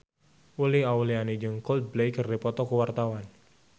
Uli Auliani jeung Coldplay keur dipoto ku wartawan